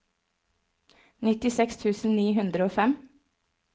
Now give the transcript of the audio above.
nittiseks tusen ni hundre og fem